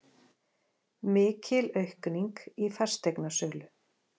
Mikil aukning í fasteignasölu